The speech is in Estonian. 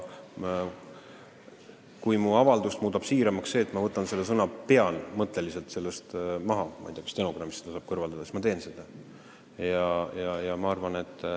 Kui mu avalduse muudab siiramaks see, et ma võtan selle sõna "pean" mõtteliselt maha – ma ei tea, kas stenogrammist saab seda kõrvaldada –, siis ma teen seda.